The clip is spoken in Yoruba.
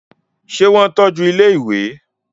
ṣé wọ́n tọ́ju ilẹ́ ìwẹ̀?